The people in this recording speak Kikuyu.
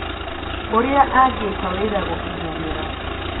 ũrĩa angĩka wĩra gũkinyanira